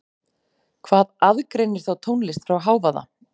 Hvað aðgreinir þá tónlist frá hávaða?